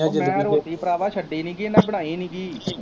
ਉਹ ਮੈਂ ਰੋਟੀ ਭਰਾਵਾ ਛੱਡੀ ਨੀਗੀ, ਇਹਨਾ ਬਣਾਈ ਨੀਗੀ